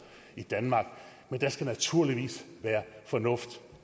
i danmark men der skal naturligvis være fornuft